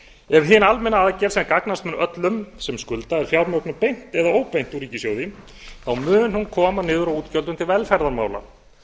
ef hin almenna aðgerð sem gagnast mun öllum sem skulda er fjármögnuð beint eða óbeint úr ríkissjóði mun hún koma niður á útgjöldum til velferðarmála